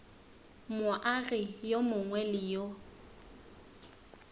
moagi yo mongwe le yo